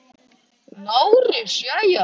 LÁRUS: Jæja!